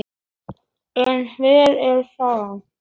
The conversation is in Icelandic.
En hver er sagan?